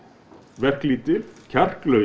verklítil kjarklaus